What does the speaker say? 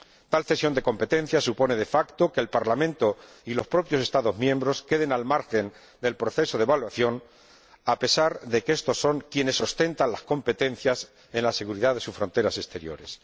Tal cesión de competencias supone de facto que el Parlamento y los propios Estados miembros queden al margen del proceso de evaluación, a pesar de que éstos son quienes ostentan las competencias en la seguridad de sus fronteras exteriores.